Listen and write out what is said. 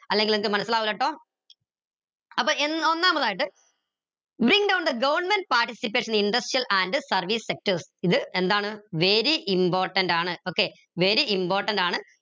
അല്ലെങ്കിൽ നിങ്ങക്ക് മനസിലാവില്ലട്ടോ അപ്പൊ എ ഒന്നാമതായിട്ട് bring down the government participation and service sectors ഇത് എന്താണ് very important ആണ് okay very important ആണ്